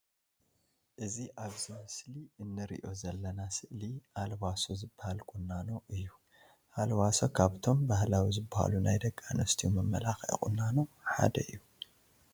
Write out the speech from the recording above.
እዚ ኣብዚ ምስሊ እንርእዮ ዘለና ስእሊ ኣልባሶ ዝባሃል ቁናኖ እዩ። ኣልባሶ ካብቶም ባህላዊ ዝባሃሉ ናይ ደቂ ኣንሰትዮ መመላከዒ ቁናኖ ሓደ እዩ።